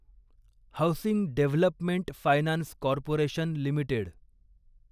housing development finance corporation limited